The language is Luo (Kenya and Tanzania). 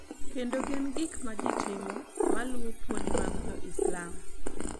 Kendo gin gik ma ji timo ma luwo puonj mag Jo-Islam.